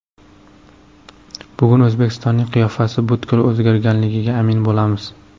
Bugun O‘zbekistonning qiyofasi butkul o‘zgarganligiga amin bo‘lamiz.